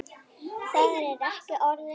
Það er ekki orðum aukið.